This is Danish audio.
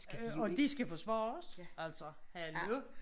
Og de skal forsvare altså hallo